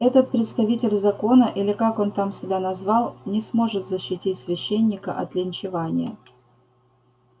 этот представитель закона или как он там себя назвал не сможет защитить священника от линчевания